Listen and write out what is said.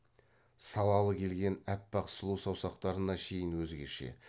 салалы келген аппақ сұлу саусақтарына шейін өзгеше